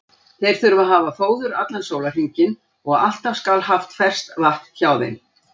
Þeir þurfa að hafa fóður allan sólarhringinn og alltaf skal haft ferskt vatn hjá þeim.